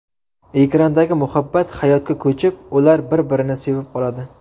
Ekrandagi muhabbat hayotga ko‘chib, ular bir-birini sevib qoladi.